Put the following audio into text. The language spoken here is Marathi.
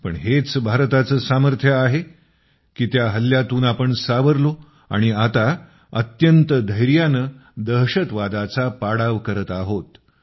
पण हेच भारताचे सामर्थ्य आहे की त्या हल्ल्यातून आपण सावरलो आणि आता अत्यंत धैर्याने दहशतवादाचा पाडाव करत आहोत